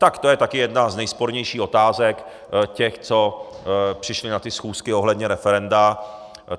Tak to je také jedna z nejspornějších otázek těch, co přišli na ty schůzky ohledně referenda.